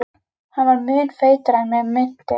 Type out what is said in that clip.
Hann var mun feitari en mig minnti.